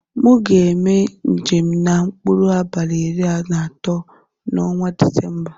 Mu ga eme njem na mkpụrụ abali iri na atọ na ọnwa disemba.